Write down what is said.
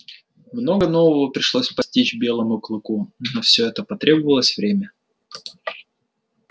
много нового пришлось постичь белому клыку но на всё это потребовалось время